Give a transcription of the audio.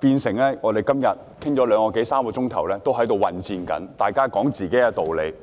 於是，我們今天像處於混戰中，辯論了兩三小時，各自說自己的道理。